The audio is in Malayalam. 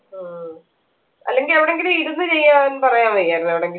ആഹ് അല്ലെങ്കിൽ എവിടെങ്കിലും ഇരുന്ന് ചെയ്യാൻ പറയാൻ വയ്യായിരുന്നു എവിടെങ്കിലും